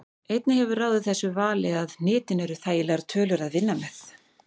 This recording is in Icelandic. Einnig hefur ráðið þessu vali að hnitin eru þægilegar tölur að vinna með.